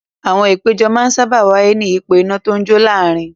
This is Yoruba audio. Àwọn ìpéjọ máa ń sáábà wáyé ní ìyípo iná tó ń jó láàárin.